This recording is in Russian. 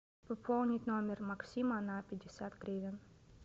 пополнить номер максима на пятьдесят гривен